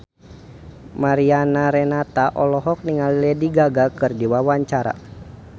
Mariana Renata olohok ningali Lady Gaga keur diwawancara